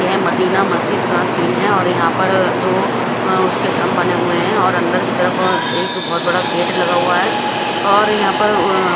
यह मदीना मस्जिद का सीन है और यहा पर दो उसके थम्ब बने हुए है और अन्दर की तरफ एक बोहोत बड़ा गेट लगा हुआ है और यह पर अ--